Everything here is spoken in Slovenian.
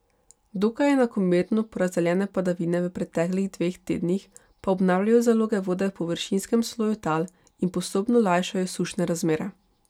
Dokaj enakomerno porazdeljene padavine v preteklih dveh tednih pa obnavljajo zaloge vode v površinskem sloju tal in postopno lajšajo sušne razmere.